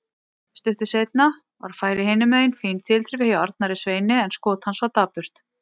Stuttu seinna var færi hinumegin, fín tilþrif hjá Arnari Sveini en skot hans var dapurt.